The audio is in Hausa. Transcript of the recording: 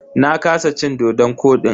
Na kasa cin dodon kodin.